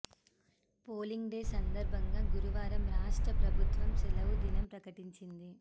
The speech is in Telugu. పోలింగ్ డే సందర్భంగా గురువారం రాష్ట్ర ప్రభుత్వం సెలవు దినం ప్రకటించింది